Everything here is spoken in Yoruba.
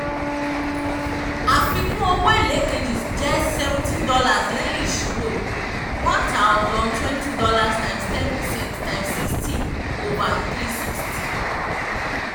àfikún owó èlé kejì um jẹ́ seventeen dollars lẹ́yìn ìṣírò one thousand twenty dollars times ten per cent times sixty over three sixty